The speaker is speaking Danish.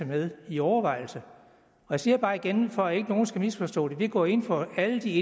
med i overvejelserne jeg siger bare igen for at ingen skal misforstå det vi går ind for alle de